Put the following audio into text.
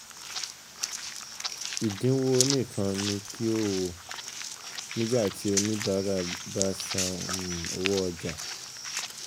Ìdínwo nìkan ni kí o wò um nígbà tí oníbárà tí oníbárà bá san um owó ọjà.